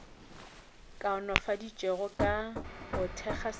kaonafaditšwego ka go thekga setšhaba